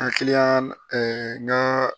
Hakiliyan n ka